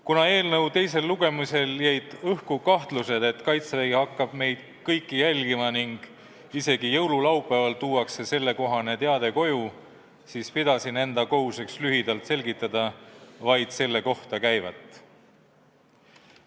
Kuna eelnõu teisel lugemisel jäid õhku kahtlused, et Kaitsevägi hakkab meid kõiki jälgima ning isegi jõululaupäeval tuuakse sellekohane teade koju, siis pidasin enda kohuseks lühidalt selgitada vaid selle kohta käivat.